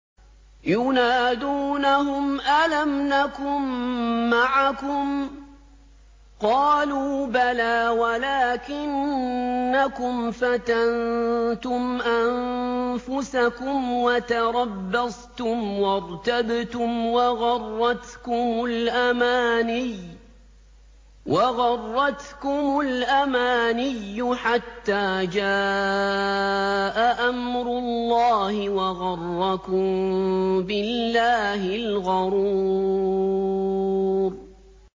يُنَادُونَهُمْ أَلَمْ نَكُن مَّعَكُمْ ۖ قَالُوا بَلَىٰ وَلَٰكِنَّكُمْ فَتَنتُمْ أَنفُسَكُمْ وَتَرَبَّصْتُمْ وَارْتَبْتُمْ وَغَرَّتْكُمُ الْأَمَانِيُّ حَتَّىٰ جَاءَ أَمْرُ اللَّهِ وَغَرَّكُم بِاللَّهِ الْغَرُورُ